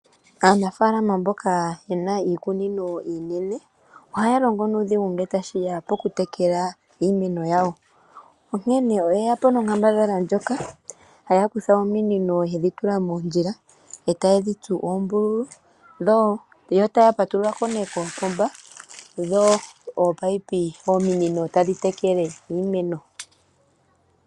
Aanafalama mboka ye na iikunino iinene oha ya longo nuudhiginini ngele tashi ya pokutekela iimeno yawo onkene oye yapo nonkambadhala ndjoka haya kutha ominino te dhi tula moondjila e taye dhi tsu oombululu yo taya patululako ne kopomba go ominino tadhi tekele iimeno.